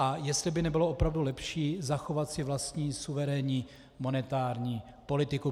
A jestli by nebylo opravdu lepší zachovat si vlastní suverénní monetární politiku.